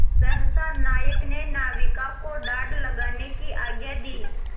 सहसा नायक ने नाविकों को डाँड लगाने की आज्ञा दी